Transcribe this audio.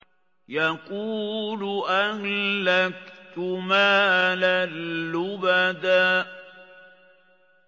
يَقُولُ أَهْلَكْتُ مَالًا لُّبَدًا